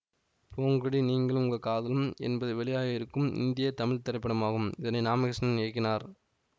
போங்கடி நீங்களும் உங்க காதலும் என்பது வெளியாகவிருக்கும் இந்திய தமிழ் திரைப்படமாகும் இதனை ராமகிருஷ்ணன் இயக்குகினார்